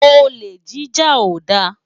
Olé jijá ó dá